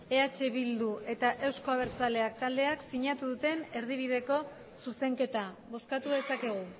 eh bildu eta euzko abertzaleak taldeak sinatu duten erdibideko zuzenketa bozkatu dezakegu